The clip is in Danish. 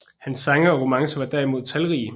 Hans sange og romancer var derimod talrige